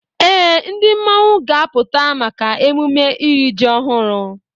Ee, ndị mmọnwụ ga-apụta maka emume iri ji ọhụrụ.